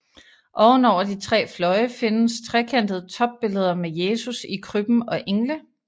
Oven over de tre fløje findes trekantede topbilleder med Jesus i krybben og engle